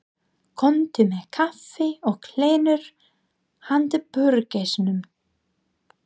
Komdu með kaffi og kleinur handa burgeisnum.